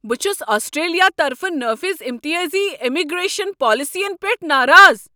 بہٕ چھس آسٹریلِیا طرفہٕ نٲفِظ امتیٲزی امیگریشن پالیسین پیٹھ ناراض ۔